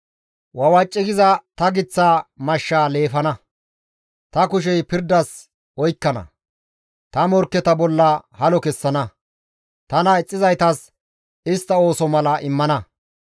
Wawaci giza ta giththa mashshaa leefana; ta kushey pirdas oykkana; ta morkketa bolla halo kessana; tana ixxizaytas ta istta ooso mala isttas immana.